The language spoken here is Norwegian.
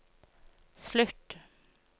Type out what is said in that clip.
slutt